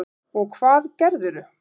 Og hvað gerðirðu?